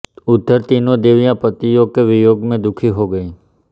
उधर तीनों देवियां पतियों के वियोग में दुखी हो गई